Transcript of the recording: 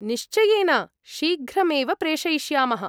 निश्चयेन, शीघ्रमेव प्रेषयिष्यामः।